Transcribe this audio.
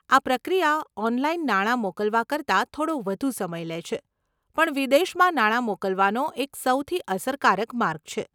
આ પ્રક્રિયા ઓનલાઈન નાણા મોકલવા કરતાં થોડો વધુ સમય લે છે પણ વિદેશમાં નાણા મોકલવાનો એક સૌથી અસરકારક માર્ગ છે.